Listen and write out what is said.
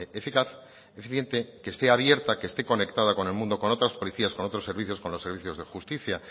eficaz eficiente que esté abierta que esté conectada con el mundo con otras policías con otros servicios con los servicios de justicia